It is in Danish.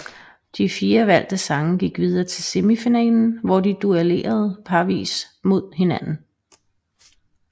De fire valgte sange gik videre til semifinalen hvor de duellerede parvis mod hinanden